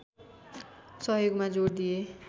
सहयोगमा जोड दिए